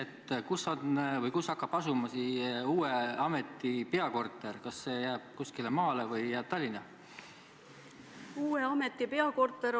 Ma küsin, kus hakkab asuma uue ameti peakorter: kas see on kuskil maal või jääb see Tallinna?